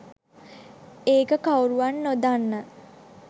ඒක කවුරුවත් නොදන්න